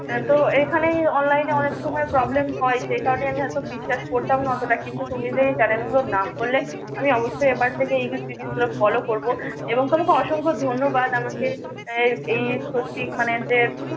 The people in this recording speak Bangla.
তো এখানে অনলাইনে অনেক সময় PROBLEM হয়। সে কারণে আমি হয়ত বিশ্বাস করতাম না অতটা কিন্তু তুমি যে CHANNEL গুলোর নাম করলে আমি অবশ্যই এবার থেকে এই গুলো FOLLOW করব এবং তোমাকে অসংখ্য ধন্যবাদ, আমাকে এই প্রতি মানে যে